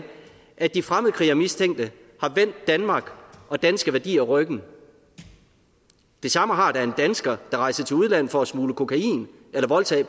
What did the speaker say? at de fremmedkrigermistænkte har vendt danmark og danske værdier ryggen det samme har da en dansker der rejser til udlandet for at smugle kokain eller voldtage